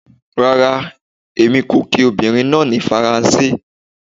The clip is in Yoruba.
Rara, Èmí ko ki obìnrín náá ni Faranse